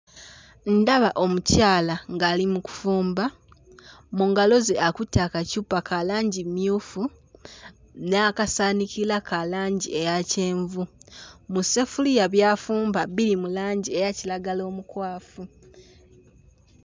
Ndaba omukyala ng'ali mu kufumba, mu ngalo ze akutte akacupa ka langi mmyufu n'akasaanikira ka langi eya kyenvu. Mu sseffuliya by'afumba biri mu langi eya kiragala omukwafu.